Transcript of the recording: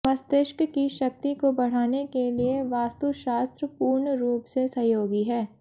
मस्तिष्क की शक्ति को बढ़ाने के लिए वास्तुशास्त्र पूर्णरूप से सहयोगी है